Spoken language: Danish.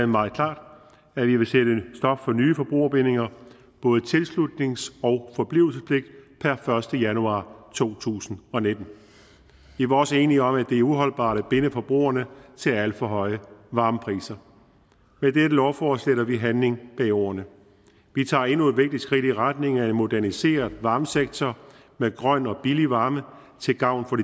meget klart at vi vil sætte stop for nye forbrugerbindinger både tilslutnings og forblivelsespligt per første januar to tusind og nitten vi var også enige om at det er uholdbart at binde forbrugerne til alt for høje varmepriser med dette lovforslag sætter vi handling bag ordene vi tager endnu et vigtigt skridt i retning af en moderniseret varmesektor med grøn og billig varme til gavn for